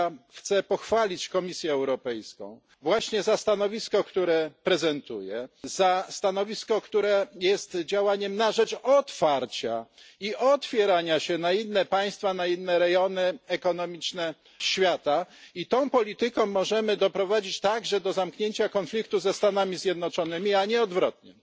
Ja chcę pochwalić Komisję Europejską właśnie za stanowisko, które prezentuje, za stanowisko, które jest działaniem na rzecz otwarcia i otwierania się na inne państwa, na inne rejony ekonomiczne świata i tą polityką możemy doprowadzić także do zamknięcia konfliktu ze Stanami Zjednoczonymi, a nie odwrotnie.